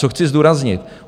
Co chci zdůraznit.